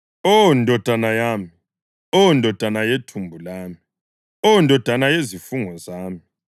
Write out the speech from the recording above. Oh, ndodana yami! Oh ndodana yethumbu lami! Oh, ndodana yezifungo zami,